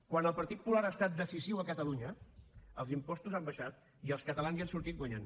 quan el partit popular ha estat decisiu a catalunya els impostos han baixat i els catalans hi han sortit guanyant